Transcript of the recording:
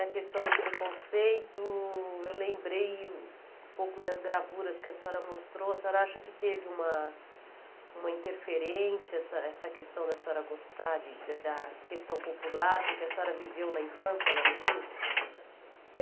a questão do preconceito, eu lembrei um pouco das gravuras que a senhora mostrou, a senhora acha que teve uma uma interferência, essa essa questão da senhora gostar da da questão popular com que a senhora viveu na infância lá no Rio? Eh